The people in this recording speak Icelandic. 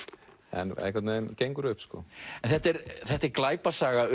en einhvern veginn gengur upp sko þetta er þetta er glæpasaga